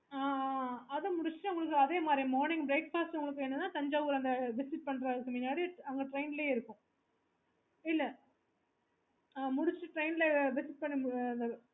அதா முடிச்சிட்டு அதே மாதிரி morning breakfast உங்களுக்கு வேணும்ம்ன்னா அங்க train லேயே இருக்கும்